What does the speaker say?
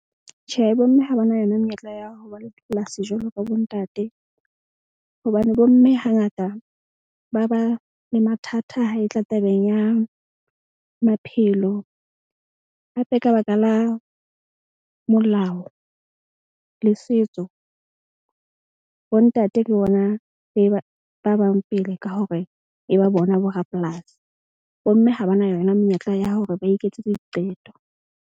Tjhe bo mme ha ba na yona menyetla ya ho ba le dipolasi jwalo ka bo ntate. Hobane bo mme hangata ba ba le mathata ha e tla tabeng ya maphelo. Hape ka baka la molao le setso bo ntate ke bona ba bang pele ka hore e ba bona borapolasi. Bo mme ha ba na yona menyetla ya hore ba iketsetse diqeto.